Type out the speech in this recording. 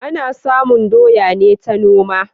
Ana samun doya ne ta noma